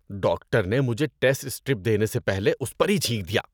Doctor نے مجھے test strip دینے سے پہلے اس پر ہی چھینک دیا۔